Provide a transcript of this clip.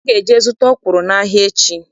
Ị ga-eje zụta ọkwụrụ n'ahịa echi!